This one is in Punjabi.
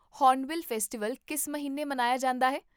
ਹੌਰਨਬਿਲ ਫੈਸਟੀਵਲ ਕਿਸ ਮਹੀਨੇ ਮਨਾਇਆ ਜਾਂਦਾ ਹੈ?